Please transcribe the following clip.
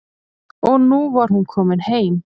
Og nú var hún komin heim.